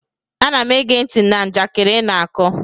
Ana m ege ntị na njakịrị ị na-akọ